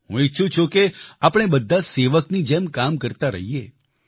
હું ઈચ્છું છું કે આપણે બધા સેવકની જેમ કામ કરતા રહીએ